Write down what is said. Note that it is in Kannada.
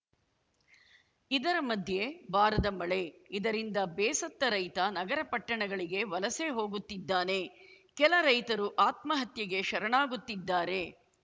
ಇದರ ಮಧ್ಯೆ ಬಾರದ ಮಳೆ ಇದರಿಂದ ಬೇಸತ್ತ ರೈತ ನಗರ ಪಟ್ಟಣಗಳಿಗೆ ವಲಸೆ ಹೋಗುತ್ತಿದ್ದಾನೆ ಕೆಲ ರೈತರು ಆತ್ಮಹತ್ಯೆಗೆ ಶರಣಾಗುತ್ತಿದ್ದಾರೆ